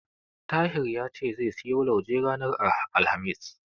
Tahir ya ce zai siyo lauje ranar Alhamis.